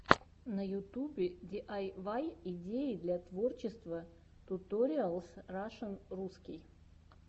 на ютубе диайвай идеи для творчества туториалс рашн русский